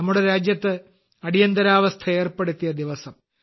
നമ്മുടെ രാജ്യത്ത് അടിയന്തരാവസ്ഥ ഏർപ്പെടുത്തിയ ദിവസം